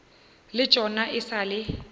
le tšona e sa le